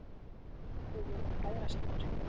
Við vorum bræðrasynir.